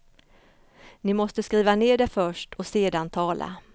Ni måste skriva ner det först och sedan tala.